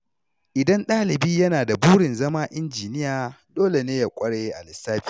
Idan ɗalibi yana da burin zama injiniya, dole ne ya ƙware a lissafi.